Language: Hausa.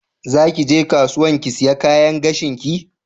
Zaki ge kasuwan ki siya kayan gashin ki?